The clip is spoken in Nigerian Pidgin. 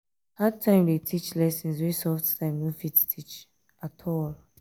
hard time dey teach lessons wey soft time no fit teach.